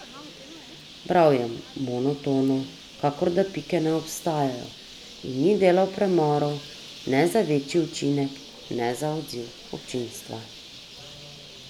Bral je monotono, kakor da pike ne obstajajo, in ni delal premorov ne za večji učinek ne za odziv občinstva.